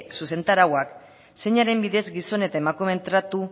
zuzentarauak zeinaren bidez gizon eta emakumeen tratu